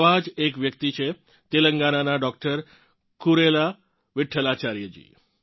આવા જ એક વ્યક્તિ છે તેલંગણાનાં ડોક્ટર કુરેલા વિઠ્ઠલાચાર્યજી